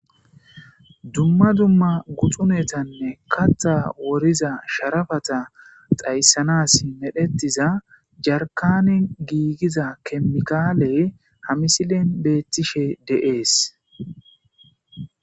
dumma dumma guxunetanne kattha woriza sharafata xayssanas medhetiza jarkane giigiza kemikaaley hamisilen beettishe de7ees